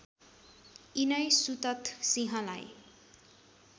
यिनै सुतथ सिंहलाई